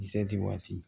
Zati waati